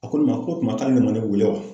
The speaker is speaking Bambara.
A ko ne ma k'o tuma k'ale de man ne wele wa?